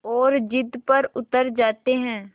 और ज़िद पर उतर आते हैं